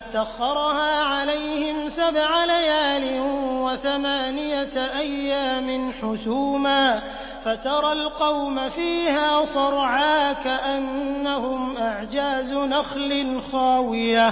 سَخَّرَهَا عَلَيْهِمْ سَبْعَ لَيَالٍ وَثَمَانِيَةَ أَيَّامٍ حُسُومًا فَتَرَى الْقَوْمَ فِيهَا صَرْعَىٰ كَأَنَّهُمْ أَعْجَازُ نَخْلٍ خَاوِيَةٍ